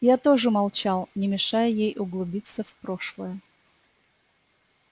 я тоже молчал не мешая ей углубиться в прошлое